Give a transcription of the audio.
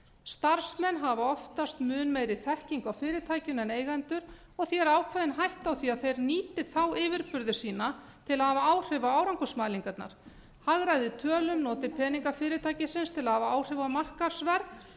starfsmenn hafa fast mun meiri þekkingu á fyrirtækinu en eigendur og því er ákveðin hætta á því að þeir nýti þá yfirburði sína til að hafa áhrif á árangursmælingarnar hagræði tölum og noti peninga fyrirtækisins til að hafa áhrif á markaðsverð